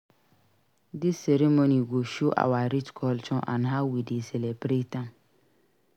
Dis ceremony go show our rich culture and how we dey celebrate am.